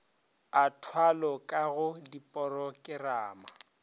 a thwalo ka go diporokerama